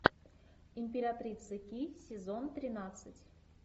императрица ки сезон тринадцать